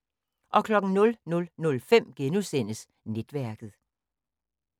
00:05: Netværket *